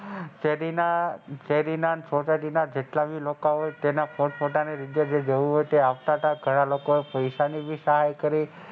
શેરી શેરી ના ઘણા બધા લોકો એ પોટ પોતાની રીતે જે જવું હોય એ તથા ઘણા લોકો એ પૈસા ની પણ સહાય કરી.